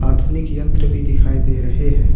आधुनिक यंत्र भी दिखाई दे रहे हैं।